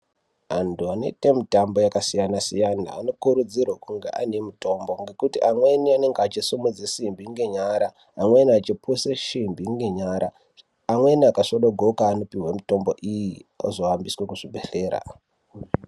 Antu anoite mutambo yakasiyana siyana anokurudzirwe kunge aine mitombo ngekuti amweni anenge echisimudze simbi ngenyara mumweni achipushe shimbi ngenyara amwrni akasvodogoka anopiwe mutombo iyi ozohambiswe kuzvibhedhlera.